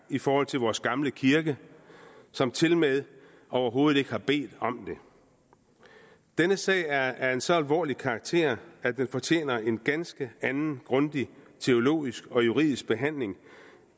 i forhold til vores gamle kirke som tilmed overhovedet ikke har bedt om det denne sag er af en så alvorlig karakter at den fortjener en ganske anden grundig teologisk og juridisk behandling